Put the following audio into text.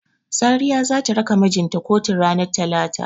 Sariya zata raka mijinta kotun ranar talata.